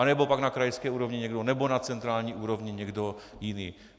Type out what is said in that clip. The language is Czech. nebo pak na krajské úrovni někdo, nebo na centrální úrovni někdo jiný.